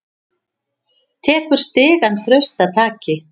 Tekur stigann traustataki.